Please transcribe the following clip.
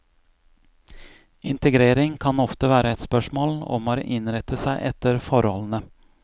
Integrering kan ofte være et spørsmål om å innrette seg etter forholdene.